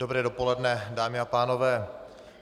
Dobré dopoledne, dámy a pánové.